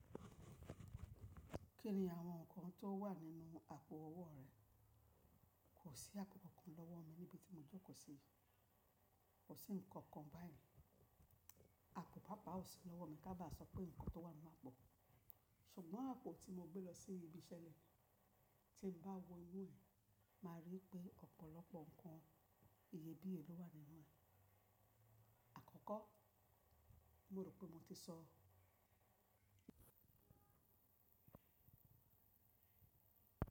Kí ni àwọn nǹkan tó wà nínú àpò owó rẹ? Kò sí àpò kan lọ́wọ́ mi níbi tí mo jókòó sí. Kò sí nǹkan kan báyìí. Àpò pápá ò sí lọ́wọ́ mi ká bá sọ pé ǹkan tó wà ninu pọ̀. Ṣùgbọ́n àpò tí mo gbé lọ sí ibi iṣẹ́, tí mo bá wo inú ẹ̀, máa rí pé ọ̀pọ̀lọpọ̀ nǹkan iyebíye ló wà nínú ẹ̀. Àkọ́kọ́, mo rò pé mo ti sọ.